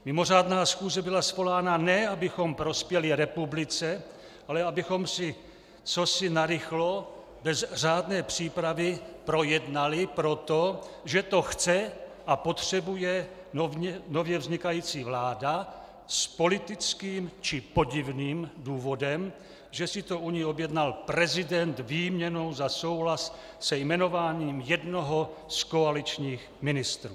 Mimořádná schůze byla svolána, ne abychom prospěli republice, ale abychom si cosi narychlo, bez řádné přípravy projednali proto, že to chce a potřebuje nově vznikající vláda s politickým či podivným důvodem, že si to u ní objednal prezident výměnou za souhlas se jmenováním jednoho z koaličních ministrů.